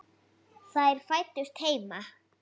Þær fæddust heima.